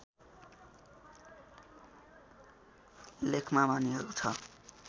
लेखमा भनिएको छ